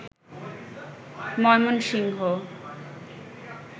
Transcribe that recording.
Mymensingh